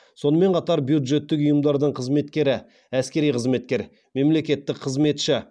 сонымен қатар бюджеттік ұйымдардың қызметкері әскери қызметкер мемлекеттік қызметші